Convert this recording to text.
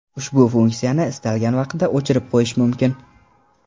Ushbu funksiyani istalgan vaqtda o‘chirib qo‘yish mumkin.